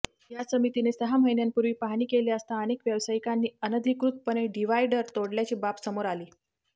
या समितीने सहा महिन्यांपूर्वी पाहणी केली असता अनेक व्यवसायिकांनी अनधिकृतपणे डिव्हायडर तोडल्याची बाब समोर आली